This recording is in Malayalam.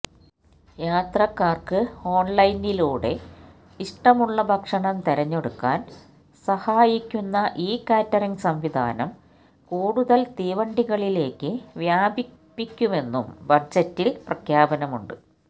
യാത്രക്കാര്ക്ക് ഓണ്ലൈനിലൂടെ ഇഷ്ടമുള്ള ഭക്ഷണം തിരഞ്ഞെടുക്കാന് സഹായിക്കുന്ന ഇ കാറ്ററിംഗ് സംവിധാനം കൂടുതല് തീവണ്ടികളിലേക്ക് വ്യാപിപ്പിക്കുമെന്നും ബജറ്റില് പ്രഖ്യാപനമുണ്ട്